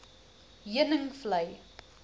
heuningvlei